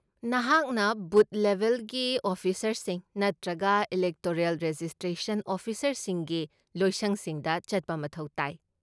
ꯅꯍꯥꯛꯅ ꯕꯨꯊ ꯂꯦꯚꯦꯜꯒꯤ ꯑꯣꯐꯤꯁꯔꯁꯤꯡ ꯅꯠꯇ꯭ꯔꯒ ꯏꯂꯦꯛꯇꯣꯔꯦꯜ ꯔꯦꯖꯤꯁꯇ꯭ꯔꯦꯁꯟ ꯑꯣꯐꯤꯁꯔꯁꯤꯡꯒꯤ ꯂꯣꯏꯁꯪꯁꯤꯡꯗ ꯆꯠꯄ ꯃꯊꯧ ꯇꯥꯏ ꯫